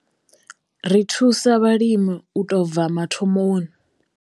Ri thusa vhalimi u tou bva mathomoni.